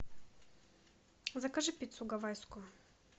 закажи пиццу гавайскую